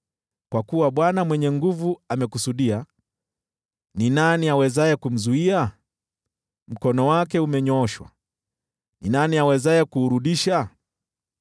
Kwa kuwa Bwana Mwenye Nguvu Zote amekusudia, ni nani awezaye kumzuia? Mkono wake umenyooshwa, ni nani awezaye kuurudisha?